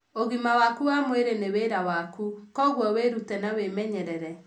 Ũgima waku wa mwĩrĩ nĩ wĩra waku, kwoguo wĩrute na wĩmenyerere.